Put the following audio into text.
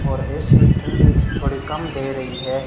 और ए_सी ठंडी थोड़ी कम दे रही है।